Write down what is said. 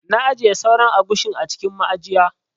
Na ajiye sauran agushin a cikin ma'ajiya.